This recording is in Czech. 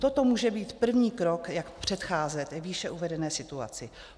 Toto může být první krok, jak předcházet výše uvedené situaci.